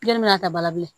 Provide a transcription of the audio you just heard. mana ta bala bilen